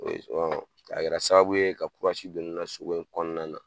a kɛra sababu ye ka don ne na so ko in kɔnɔna na